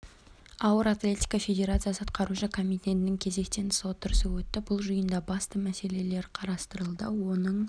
ауыр атлетика федерациясы атқарушы комитетінің кезектен тыс отырысы өтті бұл жиында басты мәселелері қарастырылды оның